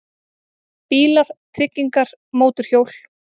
BÍLAR, TRYGGINGAR, MÓTORHJÓL